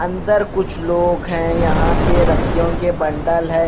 अंदर कुछ लोग हैं यहां पे रस्सीयों के बंडल है।